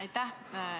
Aitäh!